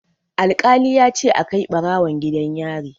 Alƙali ya ce a kai ɓarawon gidan yari.